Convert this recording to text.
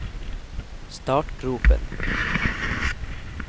startgropen